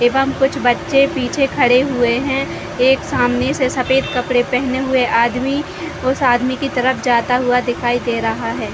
एवं कुछ बच्चे पीछे खड़े हुए हैं एक सामने से सफ़ेद कपड़े पहने हुए आदमी उस आदमी की तरफ़ जाता हुआ दिखाई दे रहा हैं।